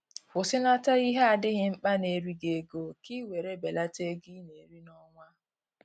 kwụsịnata ihe adịghị mkpa na eri gị ego ka i nwèrè belata ego I na eri na onwa